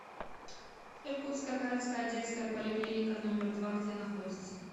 иркутская городская детская поликлиника номер два где находится